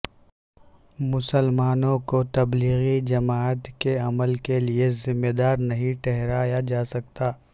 مسلمانوں کو تبلیغی جماعت کے عمل کیلئے ذمہ دار نہیں ٹھہرایا جاسکتا